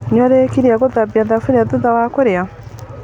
Nĩũrĩkirie gũthambia thuburia thutha wa kũrĩa?